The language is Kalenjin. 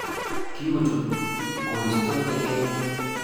Kikochut koristo tekenyu